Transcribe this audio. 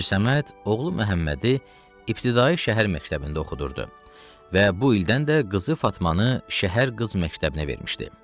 Hacı Səməd oğlu Məhəmmədi ibtidai şəhər məktəbində oxudurdu və bu ildən də qızı Fatmanı şəhər qız məktəbinə vermişdi.